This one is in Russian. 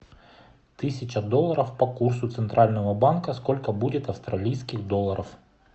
тысяча долларов по курсу центрального банка сколько будет австралийских долларов